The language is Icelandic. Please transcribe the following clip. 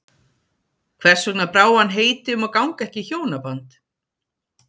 Hvers vegna brá hann heiti um að ganga ekki í hjónaband?